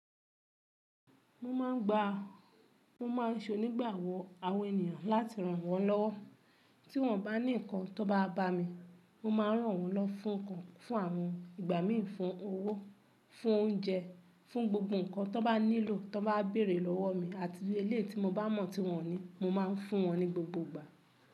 Mo máa ń gba, mo máa ń ṣe onígbàwọ́ àwọn ènìyàn láti ràn wọ́n lọ́wọ́. Tí wọ́n bá ní nnkan tó bá wa ba mi, mo máa ń ràn wọ́n lọwo fún ǹkan, fún àwọn ìgbà mí fún owó, fún oúnjẹ, fún gbogbo ǹkan tó bá nílò, tó bá bèèrè lọ́wọ́ mi àti ilé tí mo bá mọ̀ tí wọ́n ní, mo máa ń fún wọn ní gbogbo ìgbà.